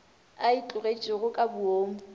a e tlogetšego ka boomo